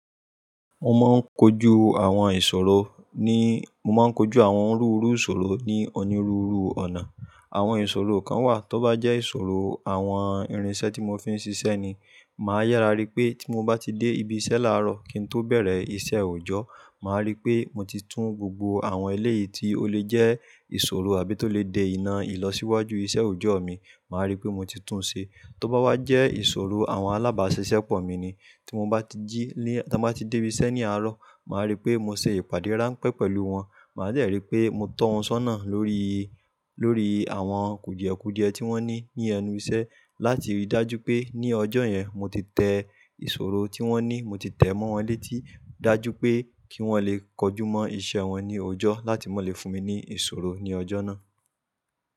Mo máa ń kojú àwọn ìṣòro ní, mo máa ń kojú àwọn òní úru ìṣòro ní òní rúru ọ̀nà. Àwọn ìṣòro kan wà, tó bá jẹ́ ìṣòro àwọn irinṣẹ́ tí mo fi ń ṣiṣẹ́ ni, màá yára rí pé tí mo bá ti dé ibiṣẹ́ láàárọ̀ kí n tó bẹ̀rẹ̀ iṣẹ́ òòjọ́, màá rí pé mo ti tún gbogbo àwọn eléyìí tí ó lè jẹ́ ìṣòro àbí tó lè dé iná ìlọsíwájú iṣẹ́ òòjọ́ mi, màá rí pé mo ti tún un ṣe. Tó bá wá jẹ́ ìṣòro àwọn alábáṣiṣẹ́pọ̀ mi ni, tí mo bá ti jí, tí mo bá ti dé ibiṣẹ́ ní àárọ̀, màá rí pé mo ṣe ìpàdé ránpẹ́ pẹ̀lú wọn, màá jẹ́ rí pé mo tọ́ wọn sọ́nà lórí, lórí àwọn kùdìẹ̀kùdìẹ tí wón ní ní ẹnu iṣẹ́ láti rí dájú pé ní ọjọ́ yẹn mo ti tẹ ìṣòro tí wón ní, mo ti tẹ̀ mọ́ wọn létí dájú pé kí wọ́n lè kojú mọ́ iṣẹ́ wọn ní òòjọ́ láti má le fún mi ní ìṣòro ní ọjọ́ náà.